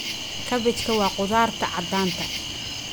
Kabejka wa kudharta cadanta.